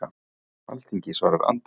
Alþingi svarar Andra